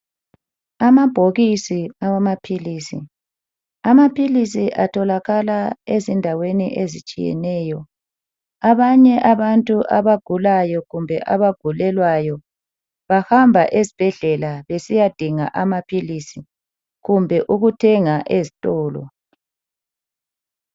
Amabhokisi awamaphilizi, amaphilisi atholakala ezindaweni ezitshiyeneyo, abanye abantu abagulayo kumbe abagulelwayo bahamba esibhedlela besiya dinga amaphilisi kumbe ukuthenga ezitolo.